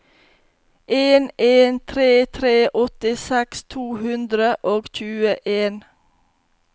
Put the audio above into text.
en en tre tre åttiseks to hundre og tjueen